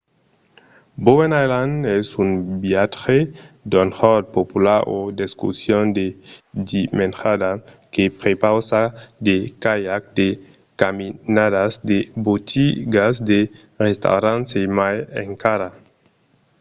bowen island es un viatge d'un jorn popular o d'excursion de dimenjada que prepausa de caiac de caminadas de botigas de restaurants e mai encara